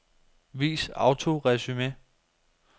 Vis autoresumé.